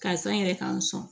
Karisa n yɛrɛ k'an sɔn